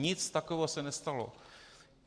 Nic takového se nestalo.